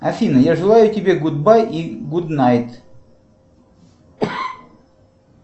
афина я желаю тебе гуд бай и гуд найт